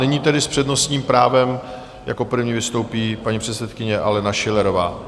Nyní tedy s přednostním právem jako první vystoupí paní předsedkyně Alena Schillerová.